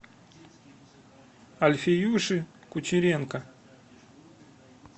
альфиюши кучеренко